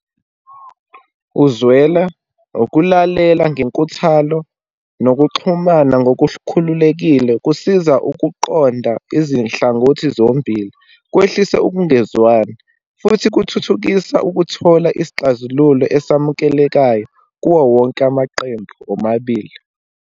Uzwela ukulalela ngenkuthalo, nokuxhumana ngokukhululekile, kusiza ukuqonda izinhlangothi zombili, kwehlise ukungezwani, futhi kuthuthukisa ukuthola isixazululo esimukelekayo kuwo wonke amaqembu omabili.